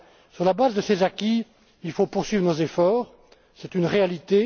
partie. Sur la base de ces acquis, il faut poursuivre nos efforts, c'est une